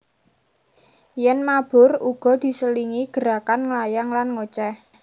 Yèn mabur uga diselingi gerakan nglayang lan ngocéh